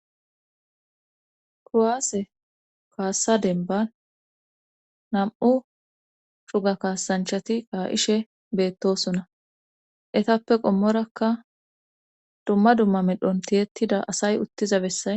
kuwaase kaassa demban nam''u cora kaasanchati kaa'ishe beettosonna. etappe qommorakka dumma dumma medhon tiyettida asay uttiza bessay